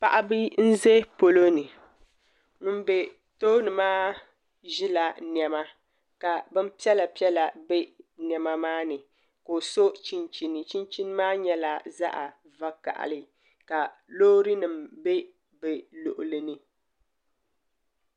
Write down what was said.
Paɣaba n bɛ polo ni ŋun bɛ tooni maa ʒila niɛma ka ka bin piɛla piɛla bɛ niɛma maani ka o so chinchini chinchini maa nyɛla zaɣ vakaɣali ka loori nim bɛ bi luɣuli ni